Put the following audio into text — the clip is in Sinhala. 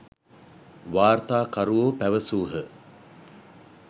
වාර්තාකරුවෝ පැවැසූහ.